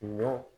Ɲɔ